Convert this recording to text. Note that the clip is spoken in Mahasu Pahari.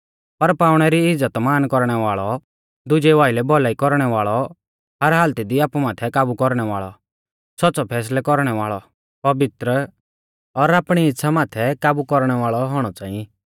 पर पाउणै री इज़्ज़तमान कौरणै वाल़ौ दुजेऊ आइलै भौलाई कौरणै वाल़ौ हर हालती दी आपु माथै काबु कौरणै वाल़ौ सौच़्च़ौ फैसलै कौरणै वाल़ौ पवित्र और आपणी इच़्छ़ा माथै काबु कौरणै वाल़ौ औणौ च़ांई